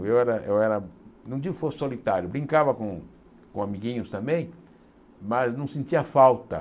Eu era, eu era não digo que eu fosse solitário, brincava com com amiguinhos também, mas não sentia falta.